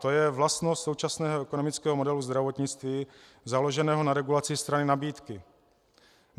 To je vlastnost současného ekonomického modelu zdravotnictví založeného na regulaci strany nabídky.